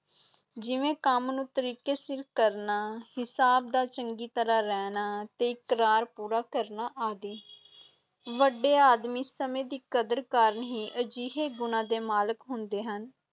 ਜਿਵੇਂ ਕੰਮ ਨੂੰ ਤਰੀਕੇ ਸਿਰ ਕਰਨਾ, ਹਿਸਾਬ ਦਾ ਚੰਗੀ ਤਰ੍ਹਾਂ ਰਹਿਣਾ ਤੇ ਇਕਰਾਰ ਪੂਰਾ ਕਰਨਾ ਆਦਿ ਵੱਡੇ ਆਦਮੀ ਸਮੇਂ ਦੀ ਕਦਰ ਕਾਰਨ ਹੀ ਅਜਿਹੇ ਗੁਣਾਂ ਦੇ ਮਾਲਕ ਹੁੰਦੇ ਹਨ।